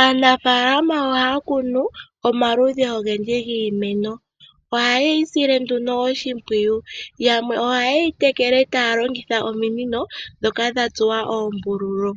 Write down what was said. Aanafalama ohaya kunu omaludhi ogendji gii meno. Oha yeyi sile nduno oshimpwiyu. Yamwe oha yeyi tekele taya longitha ominino ndhoka dha tsuwa oombululu.